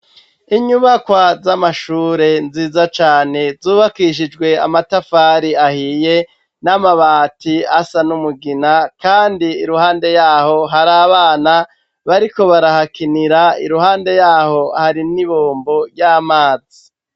Inyubakwa z'amashure nziza cane zubakishijwe amatafari ahiye n'amabati asa n'umugina kandi iruhande yaho, hari abana bariko barahakinira, iruhande yaho hari n'ibombo ry'amazi.